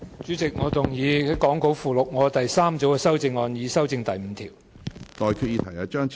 主席，我動議講稿附錄我的第三組修正案，以修正第5條。